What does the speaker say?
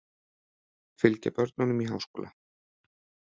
Fylgja börnunum í háskóla